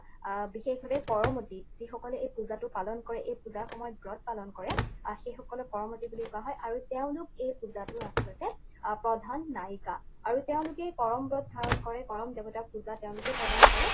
আহ বিশেষভাৱে কৰমতি যিসকলে এই পূজাটো পালন কৰে, এই পূজাৰ সময়ত ব্ৰত পালন কৰে, আহ সেইসকলক কৰমতি বুলি কোৱা হয় আৰু তেওঁলোক এই পূজাটোৰ আচলতে আহ প্ৰধান নায়িকা। আৰু তেওঁলোকে কৰম ব্ৰত ধাৰণ কৰে, কৰম দেৱতাক পূজা তেওঁলোকেই প্ৰদান কৰে